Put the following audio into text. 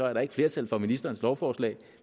er der ikke flertal for ministerens lovforslag